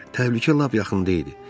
Təhlükə lap yaxında idi.